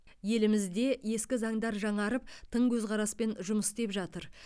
елімізде ескі заңдар жаңарып тың көзқараспен жұмыс істеп жатыр